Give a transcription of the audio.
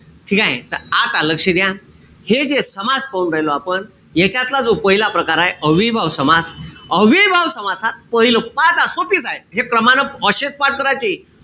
ठीकेय? त आता लक्ष द्या. हे जे समास पाहू राहिलो आपण. यांच्यातला जो पहिला प्रकार हाये. अव्ययीभाव समास अव्ययीभाव समासात पाहिलं. पहा आता सोपीच आहे. हे क्रमानं अशेच पाठ कराचे.